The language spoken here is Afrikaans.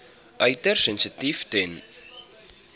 uiters sensitief ten